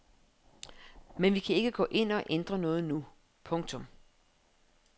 Men vi kan ikke gå ind og ændre noget nu. punktum